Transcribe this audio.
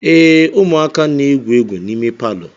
Ee, ụmụaka na-egwu egwu n'ime palọ